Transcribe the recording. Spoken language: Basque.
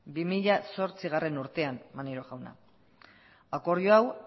bi mila zortzigarrena urtean maneiro jauna akordio hau